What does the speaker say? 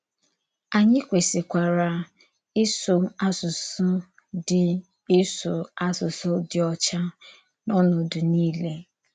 Ányị kwèsìkwara ísụ̀ àsụsụ dì ísụ̀ àsụsụ dì ọ́chà n’ọ̀nòdu niile.